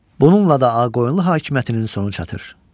Bununla da Ağqoyunlu hakimiyyətinin sonu çatır.